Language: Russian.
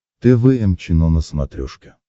тэ вэ эм чено на смотрешке